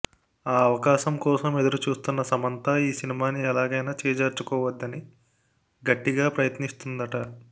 ఆ అవకాశం కోసం ఎదురుచూస్తున్న సమంతా ఈ సినిమాని ఎలాగైనా చేజార్చుకోవద్దని గట్టిగా ప్రయత్నిస్తుందట